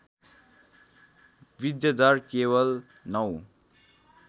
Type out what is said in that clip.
वृद्धिदर केवल ०९